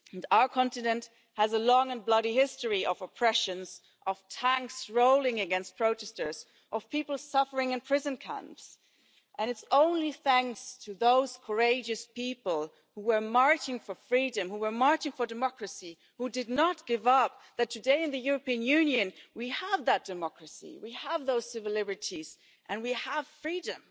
Our continent has a long and bloody history of oppressions, of tanks rolling against protesters, of people suffering in prison camps, and it's only thanks to those courageous people who were marching for freedom, who were marching for democracy and who did not give up, that today in the European Union we have that democracy, we have those civil liberties and we have freedom.